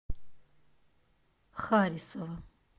харисова